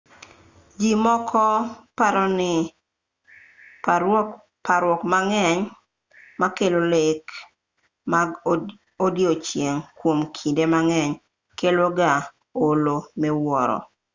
ji moko paro ni parruok mang'eny makelo lek mag odiechieng' kuom kinde mang'eny kelo ga olo miwuoro